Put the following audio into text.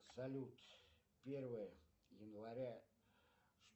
салют первое января